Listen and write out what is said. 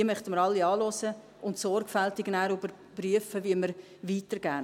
Die möchten wir alle anhören und nachher sorgfältig überprüfen, wie wir weiter vorgehen.